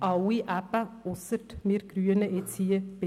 Alle, ausser wir Grünen bei